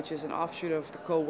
sig í co